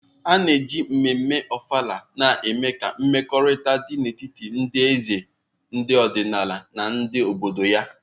A na-eji ememme Ofala na-eme ka mmekọrịta dị n'etiti ndị eze ọdịnala na ndị obodo ya.